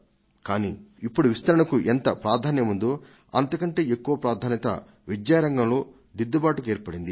కానీ ఇప్పుడు విస్తరణకు ఎంత ప్రాధాన్యముందో అంతకంటే ఎక్కువ ప్రాధాన్యత విద్యా రంగంలో దిద్దుబాటుకు ఏర్పడింది